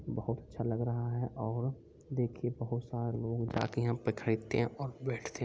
बहुत अच्छा लग रहा है और देखिए बहुत सारा लोग जाके यहां पे खरीदते है और बैठते हैं।